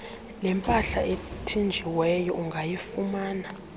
lempahla ethinjiweyo ungayifumana